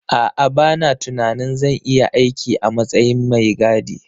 A'a, bana tunanin zan iya aiki a matsayin mai gadi.